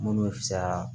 Minnu bɛ fisaya